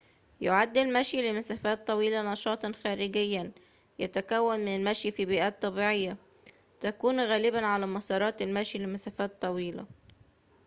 يُعد المشي لمسافات طويلة نشاطاً خارجياً يتكون من المشي في بيئات طبيعية تكون غالباً على مسارات المشي لمسافات طويلة